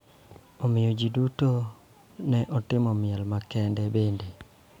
Omiyo, ji duto ne otimo miel makende bende.